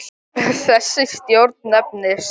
Þessi stjórn nefnist